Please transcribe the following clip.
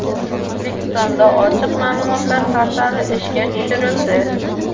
O‘zbekistonda ochiq ma’lumotlar portali ishga tushirildi.